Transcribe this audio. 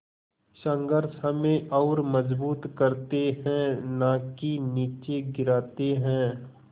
संघर्ष हमें और मजबूत करते हैं नाकि निचे गिराते हैं